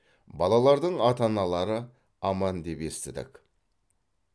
балалардың ата аналары аман деп естідік